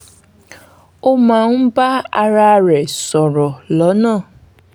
ó máa ń bá ara rẹ̀ sọ̀rọ̀ lọ́nà